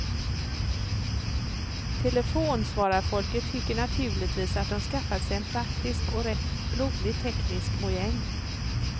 Telefonsvararfolket tycker naturligtvis att de skaffat sig en praktisk och rätt rolig teknisk mojäng.